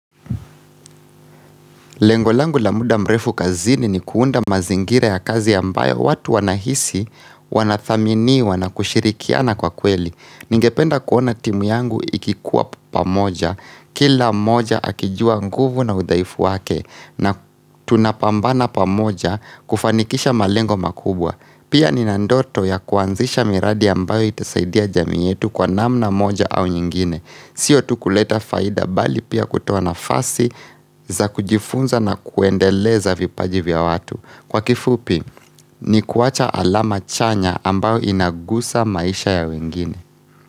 Lengolangu la muda mrefu kazini ni kuunda mazingira ya kazi ambayo watu wanahisi, wanathaminiwa na kushirikiana kwa kweli. Ningependa kuona timu yangu ikikuwa pamoja, kila moja akijua nguvu na udhaifu wake na tunapambana pamoja kufanikisha malengo makubwa. Pia nina ndoto ya kuanzisha miradi yambayo itasaidia jamii yetu kwa namna moja au nyingine. Sio tu kuleta faida bali pia kutoa nafasi za kujifunza na kuendeleza vipaji vya watu. Kwa kifupi, ni kuwacha alama chanya ambao inagusa maisha ya wengine.